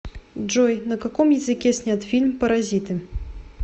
джой на каком языке снят фильм паразиты